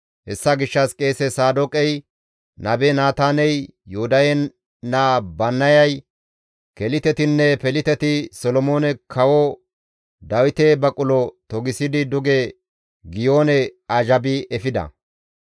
Hessa gishshas qeese Saadooqey, nabe Naataaney, Yoodahe naa Bannayay, Kelitetinne Peliteti Solomoone Kawo Dawite baqulo togisidi duge Giyoone azhabi efida.